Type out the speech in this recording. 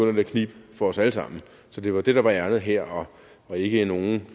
at knibe for os alle sammen så det var det der var ærindet her og ikke nogen